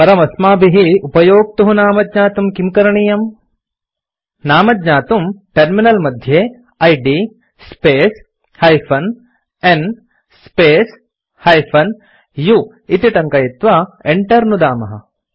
परमस्माभिः उपयोक्तुः नाम ज्ञातुं किं करणीयम् नाम ज्ञातुम् टर्मिनल मध्ये id space -n space -u इति टङ्कयित्वा enter नुदामः